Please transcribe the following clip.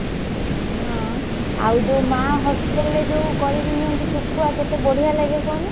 ହଁ ଆଉ ଯଉ ମା hostel ରେ ଯଉ କରିକି ନିଅନ୍ତି ଶୁଖୁଆ କେତେ ବଡିଆ ଲାଗେ କହନି।